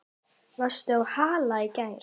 Vestur á Hala í gær.